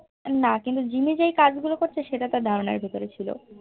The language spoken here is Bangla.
না কিন্তু জিম্মি যেই কাজ গুলো করছে সেগুলো তার ধারণার মধ্যে ছিল